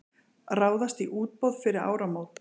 Ráðast í útboð fyrir áramót